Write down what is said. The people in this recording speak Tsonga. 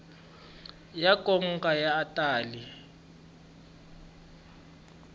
ya nkoka a ya tali